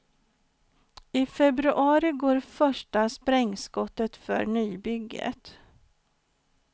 I februari går första sprängskottet för nybygget.